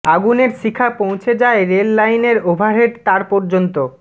আগুনের শিখা পৌঁছে যায় রেল লাইনের ওভারহেড তার পর্যন্ত